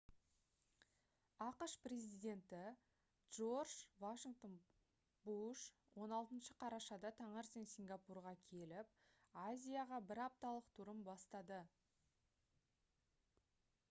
ақш президенті джордж в буш 16 қарашада таңертең сингапурға келіп азияға бір апталық турын бастады